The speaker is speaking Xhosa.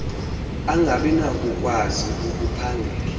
angabi nakukwazi ukuphangela